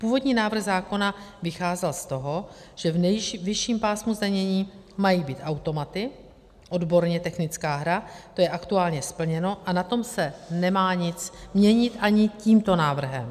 Původní návrh zákona vycházel z toho, že v nejvyšším pásmu zdanění mají být automaty, odborně technická hra, to je aktuálně splněno a na tom se nemá nic měnit ani tímto návrhem.